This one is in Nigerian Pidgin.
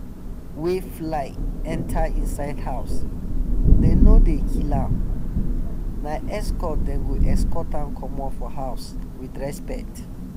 wey fly enter inside house them no dey kill am - na escort them go escort am comot for house with respect.